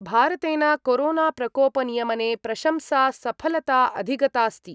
भारतेन कोरोनाप्रकोपनियमने प्रशंसा सफलता अधिगतास्ति।